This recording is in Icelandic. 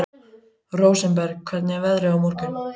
Rósinberg, hvernig er veðrið á morgun?